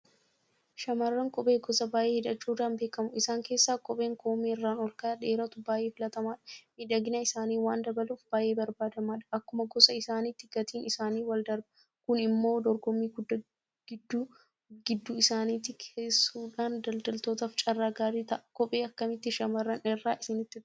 Shaamarran kophee gosa baay'ee hidhachuudhaan beekamu. Isaan keessaa kopheen koomeerraan olka'ee dheeratu baay'ee filatamaadha. Miidhagina isaaniis waan dabaluuf baay'ee barbaadamaadha. Akkuma gosa isaaniitti gatiin isaaniis waldarba. Kun immoo dorgommii guddaa gidduu isaaniitti kaasuudhaan daldaltootaaf carraa gaarii ta'a. Kophee akkamiitu shaamarran irraa isinitti tola?